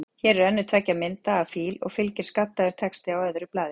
Hér er önnur tveggja mynda af fíl, og fylgir skaddaður texti á öðru blaði.